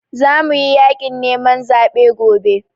Za muyi yaƙin neman zaɓe gobe